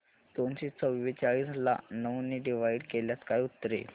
दोनशे चौवेचाळीस ला नऊ ने डिवाईड केल्यास काय उत्तर येईल